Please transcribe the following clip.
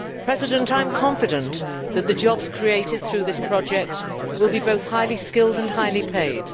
I am confident that the jobs created through this project will be both highly skilled and highly paid.